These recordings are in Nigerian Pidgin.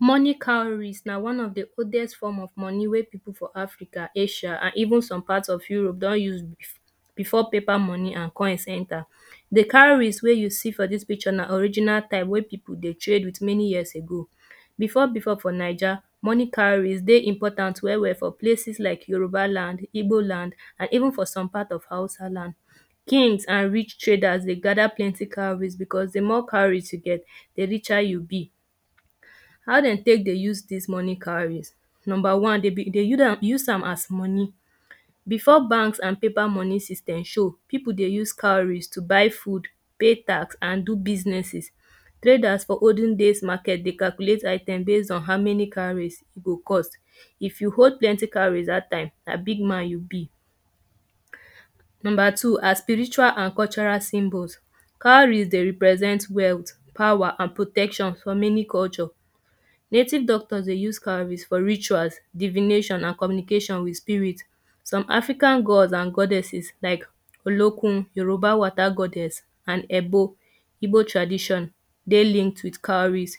Money cowries na one of the oldest form of money wey people for africa, Asia and even some part of europe don use before paper money and coins enter. The cowries wey you see for dis picture na original time wey people dey trade with many years ago. Before before for Naija, money cowries dey important well well for places like yoruba land, Igbo land and even for some part of hausa land. Kings and rich traders dey gather plenty cowries because the more cowries you get, the richer you be. How dem take dey use dis money cowries? Number one, dem be dey, dey use am as money. Before bank and paper money system show, people dey use cowries to buy food, pay tax and do businesses. Traders for olden days market dey calculate item base on how many cowries e go cost. If you hold plenty cowries dat time na big man you be. Number two, as spiritual and cultural symbols. Cowries dey represent wealth, power and protection for many culture. Native doctor dey use cowries for rituals, divination and communication with spirit. Some african gods and goddesses like olokun, yoruba water goddess and Ebo Igbo tradition dey linked with cowries.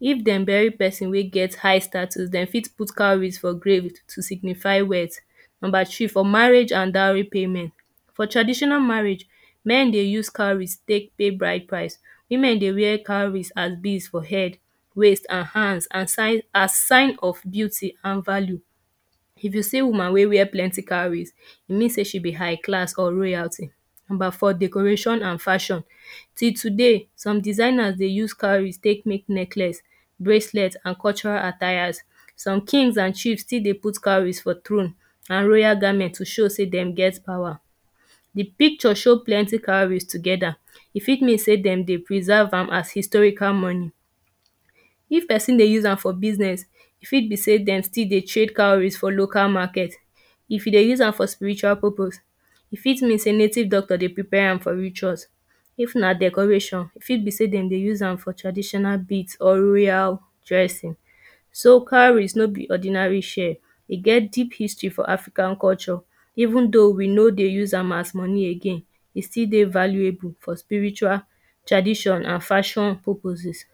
If dem bury person wey get high statue, dem fit put cowries for grave to signify wealth. Number three, for marriage and dowry payment. For traditional marriage men dey use cowries take pay bride price. Women dey wear cowries and bead for head, waist and hand as sign of beauty and value. If you see woman wey wear plenty cowries, you know sey she be high class or royalty. Number four, decoration and fashion. Till today some designers dey use cowries take make necklace, braclet and cultural attires. Some kings and queen still dey put cowries for throne and royal garment to show sey dem get power. The picture show plenty cowries together. E fit mean sey dem dey preserve am as historical money. If person dey use am for business, e fit be sey dem still dey trade cowries for local market. If you dey use am for spiritual purpose, e fit mean sey native doctore dey prepare am for ritual. If na decoration, e fit be sey dem dey use am for tradition bead or royal dressing. So cowries no be ordinary shell. E get deep history for africa culture even though we no dey use am as money again. E still dey valuable for spiritual tradition and fashion purposes.